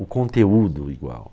O conteúdo igual.